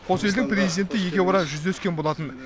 қос елдің президенті екеуара жүздескен болатын